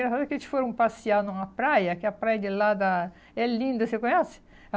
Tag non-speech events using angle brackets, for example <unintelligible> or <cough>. <unintelligible> Eles foram passear numa praia, que a praia de lá da é linda, você conhece?